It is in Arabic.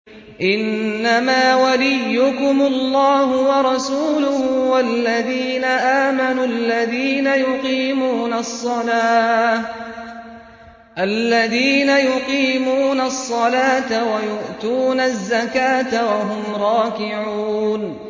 إِنَّمَا وَلِيُّكُمُ اللَّهُ وَرَسُولُهُ وَالَّذِينَ آمَنُوا الَّذِينَ يُقِيمُونَ الصَّلَاةَ وَيُؤْتُونَ الزَّكَاةَ وَهُمْ رَاكِعُونَ